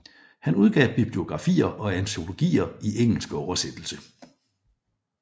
Han udgav bibliografier og antologier i engelsk oversættelse